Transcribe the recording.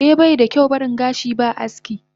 Eh banda kyau baring gashi ba aski.